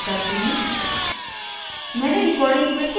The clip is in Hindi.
मैं accept पर क्लिक करती हूँ